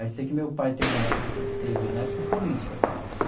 Aí sei que meu pai teve uma época que teve na época política e tal.